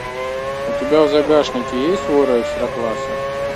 у тебя в загашнике есть воры экстра класса